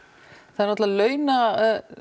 það er náttúrulega launa